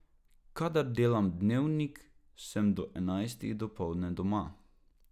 Kadar delam Dnevnik, sem do enajstih dopoldne doma.